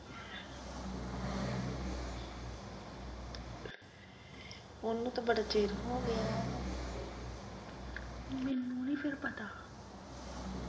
ਉਨੂੰ ਤੇ ਬੜਾ ਚਿਰ ਹੋਗਿਆ , ਮੈਨੂੰ ਨੀ ਫਿਰ ਪਤਾ।